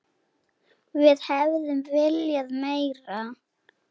Við hefðum viljað meira.